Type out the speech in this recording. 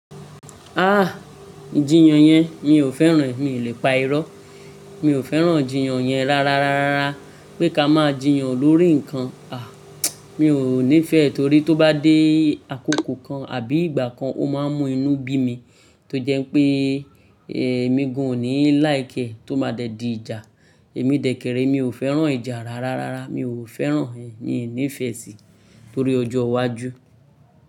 Ah ijiyàn yẹn mi ò fẹ́ràn, mi ò le pa irọ́. Mi ò fẹ́ràn ijiyàn yẹn rárárárárá. Pé ká máa jiyàn lórí ǹkan, a mi ò nífẹ̀ẹ́ torí tó bá dé àkókò kan àbí ìgbà kan ó máa ń mú inú bí mi tó jẹ́ pé èmi gan ò ní likè ẹ́ tó máa dẹ di ìjà. Èmi jmdẹ kèrèé mi ò fẹ́ràn ìjà rárárárá, mi ò fẹ́ràn rẹ̀ n nífẹ́ sí torí ọjọ́ iwájú.